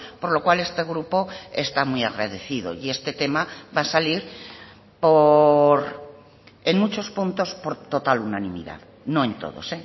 por lo cual este grupo está muy agradecido y este tema va a salir en muchos puntos por total unanimidad no en todos